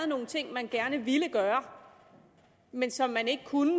nogle ting man gerne ville gøre men som man ikke kunne